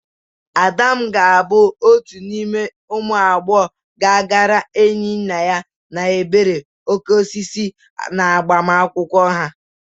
Adam ga-abụ otu n'ime ụmụ agbọghọ ga-aghara Enyinnaya na Ebere okoko osisi n'agbamakwụkwọ ha.